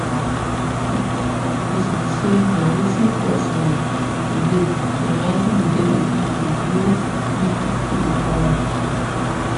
di toktok pesin say na wetin cause um delay in writing di death certificate wey make di pipo dey para